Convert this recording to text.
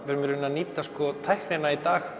við erum í rauninni að nýta tæknina í dag